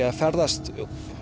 að ferðast